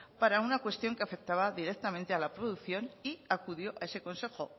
para una cuestión que afectaba directamente a la producción y acudió a ese consejo